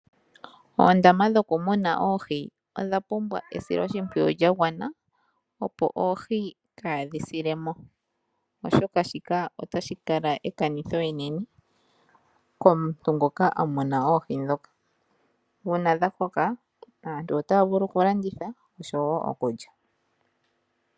Oondama dhoku muna oohi, odha pumbwa esiloshimpwiyu lyagwana, opo oohi kaa dhi silemo, oshoka shika ota shi kala ekanitho enene komuntu ngoka amuna oohi ndhoka. Uuna dha koka, aantu otaa vulu okulanditha osho wo okulya.